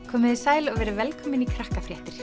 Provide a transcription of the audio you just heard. komiði sæl og verið velkomin í